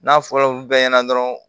N'a fɔra olu bɛɛ ɲɛna dɔrɔn